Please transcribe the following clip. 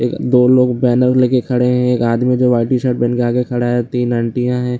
एक दो लोग बैनर लेके खड़े है एक आदमी जो व्हाइट टी-शर्ट पहन के खड़ा है तीन आंटियां है।